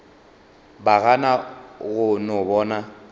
ba gana go no bona